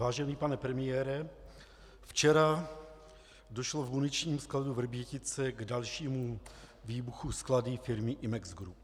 Vážený pane premiére, včera došlo v muničním skladu Vrbětice k dalšímu výbuchu skladu firmy Imex Group.